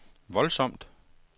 voldsomt